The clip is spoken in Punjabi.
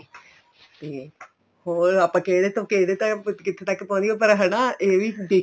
ਤੇ ਹੋਰ ਆਪਾਂ ਕਿਹੜੇ ਤੋ ਕਿਹੜੇ ਕਿੱਥੇ ਤੱਕ ਪਹੁੰਚ ਗਏ ਹਨਾ ਇਹ ਵੀ